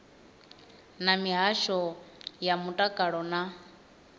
na mihasho ya mutakalo na